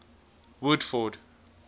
woodford